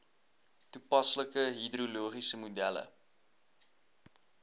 toepaslike hidrologiese modelle